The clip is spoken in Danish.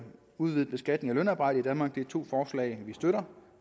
udvidet beskatning af lønarbejde i danmark det er to forslag vi støtter